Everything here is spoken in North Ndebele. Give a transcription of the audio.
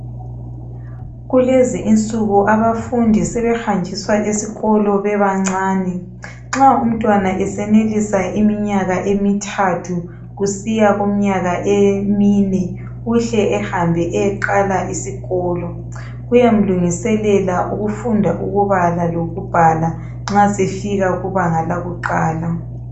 Kulezi insuku abafundi sebehanjiswa esikolo bebancani, nxa umntwana esenelisa iminyaka emithathu kusiya kumnyaka emine, uhle ehambe eyeqala isikolo kuyamlungiselela ukufunda ukubala lokubhala nxa sefika kubanga lakuqala.